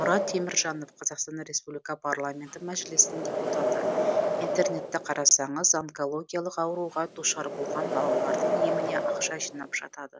мұрат теміржанов қазақстан республика парламенті мәжілісінің депутаты интернетті қарасаңыз онкологиялық ауруға душар болған балалардың еміне ақша жинап жатады